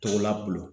Tɔgɔ la bolo